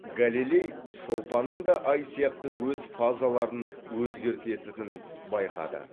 галилей шолпанның да ай сияқты өз фазаларын өзгертетінін байқады